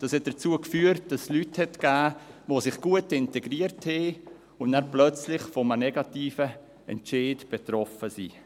Dies führte dazu, dass es Leute gab, die sich gut integriert hatten und dann plötzlich von einem negativen Entscheid betroffen waren.